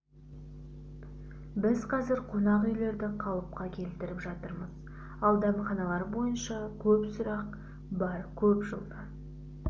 біз қазір қонақ үйлерді қалыпқа келтіріп жатырмыз ал дәмханалар бойынша көп сұрақ бар көп жылдан